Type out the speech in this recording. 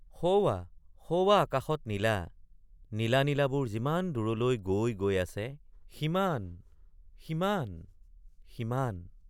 সৌৱা সৌৱা আকাশত নীলা—নীলা নীলাবোৰ যিমান দূৰলৈ গৈ গৈ আছে সিমান সিমান সিমান।